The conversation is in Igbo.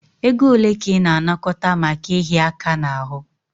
Ego ole ka ị na-anakọta maka ịhịa aka n'ahụ?